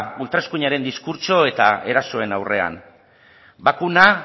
ultraeskuinaren diskurtso eta erasoen aurrean bakuna